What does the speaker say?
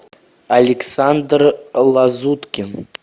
александр лазуткин